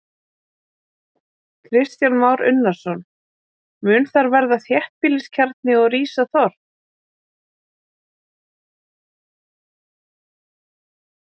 Kristján Már Unnarsson: Mun þar verða þéttbýliskjarni og rísa þorp?